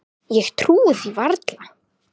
Ég trúði því varla.